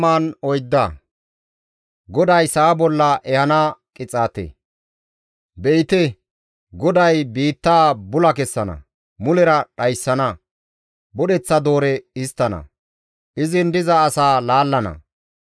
Be7ite! GODAY biittaa bula kessana; mulera dhayssana; budheththa doore histtana; izin diza asaa laallana.